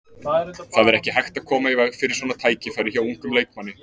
Það er ekki hægt að koma í veg fyrir svona tækifæri hjá ungum leikmanni.